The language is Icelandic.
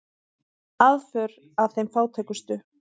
Aðför að þeim fátækustu